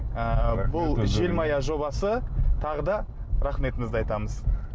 ы бұл желмая жобасы тағы да рахметімізді айтамыз